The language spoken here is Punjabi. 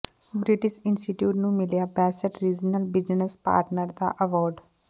ਬਿ੍ਟਿਸ਼ ਇੰਸਟੀਚਿਊਟ ਨੂੰ ਮਿਲਿਆ ਬੈਸਟ ਰਿਜਨਲ ਬਿਜ਼ਨਸ ਪਾਰਟਨਰ ਦਾ ਐਵਾਰਡ